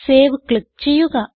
save click ചെയ്യുക